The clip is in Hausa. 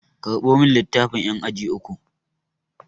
Karɓo min littafan ƴan aji uku!